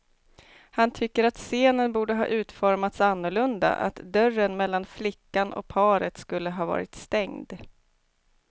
Han tycker att scenen borde ha utformats annorlunda, att dörren mellan flickan och paret skulle ha varit stängd.